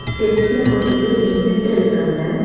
ஸ்டெப்ஸ்ல கொஞ்ச பேர் நின்னுட்டு இருக்காங்க.